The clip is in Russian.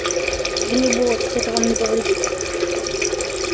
да не бойтесь это вам не повредит